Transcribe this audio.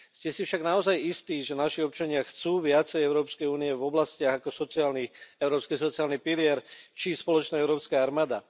Ste si však naozaj istý, že naši občania chcú viac Európskej únie v oblastiach ako európsky sociálny pilier či spoločná európska armáda?